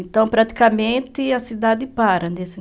Então, praticamente, a cidade para.